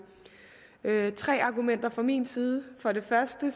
tre argumenter fra min side for det første